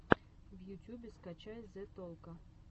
в ютьюбе скачай зе толко